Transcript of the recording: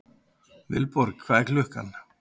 Vilborg, hvað er klukkan?